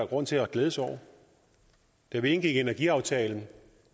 grund til at glæde sig over da vi indgik energiaftalen